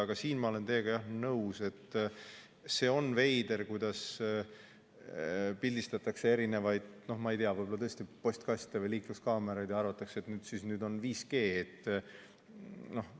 Aga selles ma olen, jah, teiega nõus, et see on veider, kuidas pildistatakse tõesti, ma ei tea, postkaste või liikluskaameraid ja arvatakse, et need on 5G.